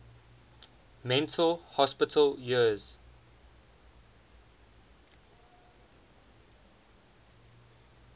mental hospital years